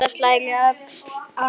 Edda slær á öxl Agnesi.